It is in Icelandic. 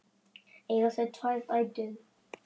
Eiga þau tvær dætur.